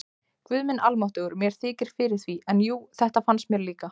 Guð minn almáttugur, mér þykir fyrir því, en jú, þetta fannst mér líka